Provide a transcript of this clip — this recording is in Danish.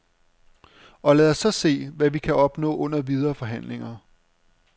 Og lad os så se, hvad vi kan opnå under de videre forhandlinger.